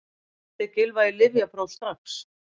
Sendið Gylfa í lyfjapróf strax!